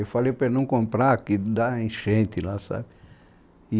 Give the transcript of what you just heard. Eu falei para ele não comprar, que dá enchente lá, sabe? E